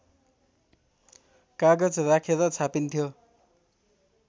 कागज राखेर छापिन्थ्यो